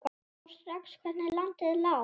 Sá strax hvernig landið lá.